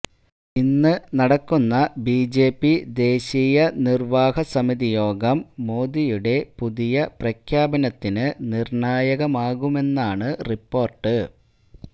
ഇന്ന് നടക്കുന്ന ബിജെപി ദേശീയ നിര്വാഹകസമിതിയോഗം മോദിയുടെ പുതിയ പ്രഖ്യാപനത്തിന് നിര്ണായകമാകുമെന്നാണ് റിപ്പോര്ട്ട്